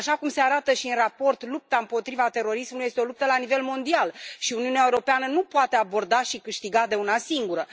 Așa cum se arată și în raport, lupta împotriva terorismului este o luptă la nivel mondial și Uniunea Europeană nu poate aborda și câștiga de una singură.